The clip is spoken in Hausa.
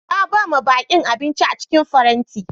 Na ba ma bakin abinci a cikin farenti.